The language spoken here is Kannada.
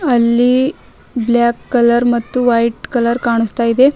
ಅಲ್ಲಿ ಬ್ಲಾಕ್ ಕಲರ್ ಮತ್ತು ವೈಟ್ ಕಲರ್ ಕಾನಸ್ತಾ ಇದೆ.